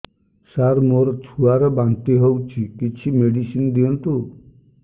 ସାର ମୋର ଛୁଆ ର ବାନ୍ତି ହଉଚି କିଛି ମେଡିସିନ ଦିଅନ୍ତୁ